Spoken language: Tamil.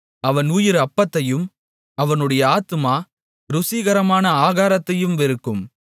அவன் உயிர் அப்பத்தையும் அவனுடைய ஆத்துமா ருசிகரமான ஆகாரத்தையும் வெறுக்கும்